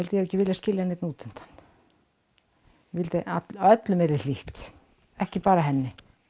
hafi ekki viljað skilja neinn út undan ég vildi að öllum væri hlýtt ekki bara henni